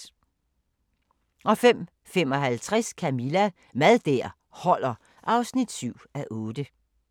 05:55: Camilla – Mad der holder (7:8)